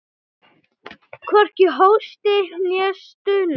Hvorki hósti né stuna.